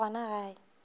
ya ba gona ge a